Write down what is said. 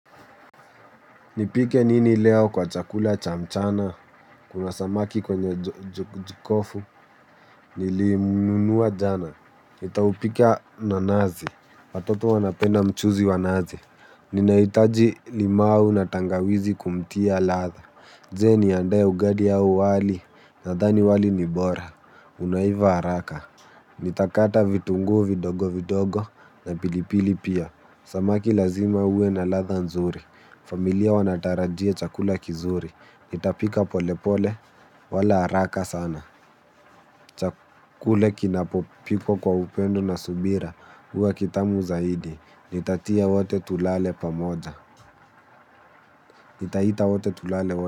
Nipike nini leo kwa chakula cha mchana, kuna samaki kwenye jikofu, nilimnunua jana, nitaupika na nazi, watoto wanapenda mchuzi wa nazi. Ninahitaji limau na tangawizi kumtia ladha, je niandae ugali au wali, nadhani wali ni bora, unaiva haraka. Nitakata vitungu vidogo vidogo na pilipili pia. Samaki lazima uwe na ladha nzuri. Familia wanatarajia chakula kizuri. Nitapika pole pole wala haraka sana. Chakula kinapopikwa kwa upendo na subira huwa kitamu zaidi. Nitatia wote tulale pamoja. Nitaita wote tulale wote.